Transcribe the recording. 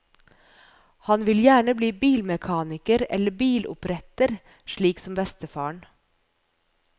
Han vil gjerne bli bilmekaniker eller biloppretter, slik som bestefaren.